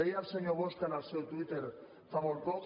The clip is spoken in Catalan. deia el senyor bosch en el seu twitter fa molt poc